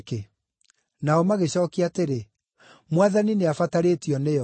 Nao magĩcookia atĩrĩ, “Mwathani nĩabatarĩtio nĩyo.”